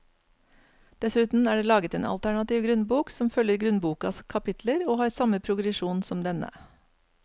Dessuten er det laget en alternativ grunnbok som følger grunnbokas kapitler og har samme progresjon som denne.